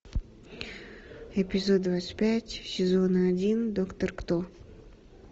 эпизод двадцать пять сезона один доктор кто